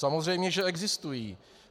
Samozřejmě že existují.